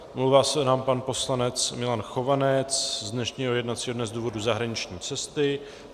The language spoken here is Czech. Omlouvá se nám pan poslanec Milan Chovanec z dnešního jednacího dne z důvodu zahraniční cesty.